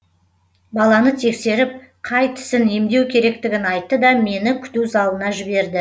баланы тексеріп қай тісін емдеу керектігін айтты да мені күту залына жіберді